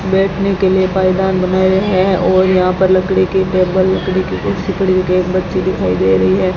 बैठने के लिए पायदान बना रहे है और यहां पर लकड़ी की टेबल लकड़ी की कुर्सी पड़ी एक बच्ची दिखाई दे रही है।